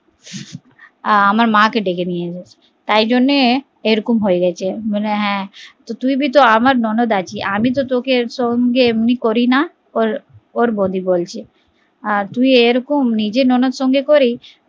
আর আমার মা কে ডেকে নিয়ে এলো তাই জন্য এরকম হয়ে গেছে বলে হ্যা, যুই ও তো আমার ননদ আছিস আমি তো তোকে সঙ্গে এমনি করি না ওর বৌদি বলছে তুই নিজের ননদ আর সঙ্গে করিস